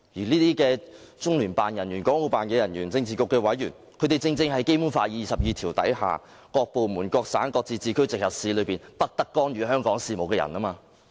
這些中聯辦、港澳辦人員、政治局委員正正就是《基本法》第二十二條所訂"各部門、各省、自治區、直轄市均不得干預"香港事務的人。